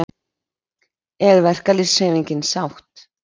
Er verkalýðshreyfingin sátt?